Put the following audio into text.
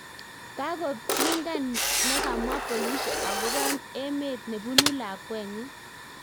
Kagopingan negamwa polishek agopo emet nepunu lakwet nenyi